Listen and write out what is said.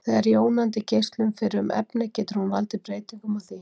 Þegar jónandi geislun fer um efni getur hún valdið breytingum á því.